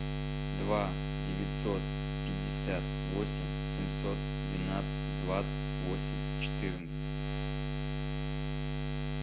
два девятьсот пятьдесят восемь семьсот двенадцать двадцать восемь четырнадцать